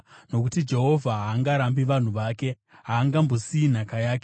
Nokuti Jehovha haangarambi vanhu vake; haangambosiyi nhaka yake.